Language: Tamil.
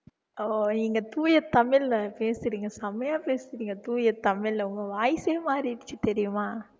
ஓ நீங்க தூய தமிழ்ல பேசுறீங்க செமையா பேசுறீங்க தூய தமிழ்ல உங்க voice ஏ மாறிடுச்சு தெரியுமா